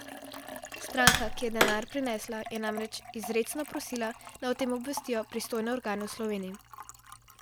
Stranka, ki je denar prinesla, je namreč izrecno prosila, naj o tem obvestijo pristojne organe v Sloveniji.